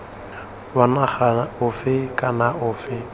wa naga ofe kana ofe